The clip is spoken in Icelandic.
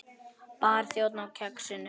Barþjónn á Kexinu?